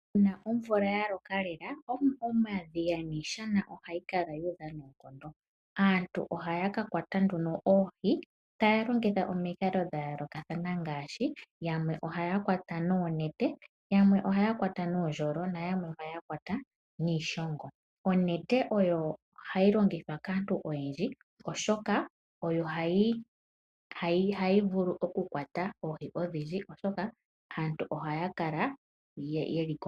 Uuna omvula yaloka lela omadhiya niishana ohayi kala yuudha noonkondo aantu ohaya kakwata oohi taya longitha omikalo dha yoolokathana ngaashi; yamwe ohaya kwata noonete, yamwe ohaya kwata noondjolo na yamwe ohaya kwata niishongo. Onete oyo hayi longithwa kaantu oyendji oshoka oyo hayi vulu okukwata oohi odhindji .